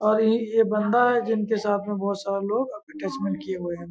और ये ये बंदा है जिनके साथ में बहोत सारा लोग अटैचमेन्ट किए हुए हैं।